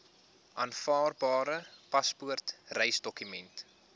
aanvaarbare paspoort reisdokument